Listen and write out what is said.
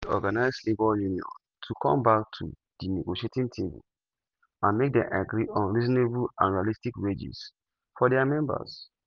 e beg di organised labour union to come back to di negotiating table and make dem agree on reasonable and realistic wages for dia members.